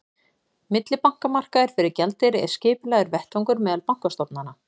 millibankamarkaður fyrir gjaldeyri er skipulagður vettvangur meðal bankastofnana